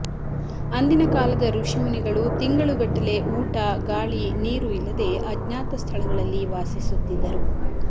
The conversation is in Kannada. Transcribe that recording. ಅಂದಿನ ಕಾಲದ ಋಷಿಮುನಿಗಳು ತಿಂಗಳುಗಟ್ಟಲೆ ಊಟ ಗಾಳಿ ನೀರು ಇಲ್ಲದೆ ಅಜ್ಞಾತ ಸ್ಥಳಗಳಲ್ಲಿ ವಾಸಿಸುತ್ತಿದ್ದರು